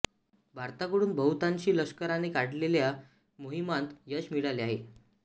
भारताकडून बहुतांशी लष्कराने काढलेल्या मोहिमांत यश मिळाले आहे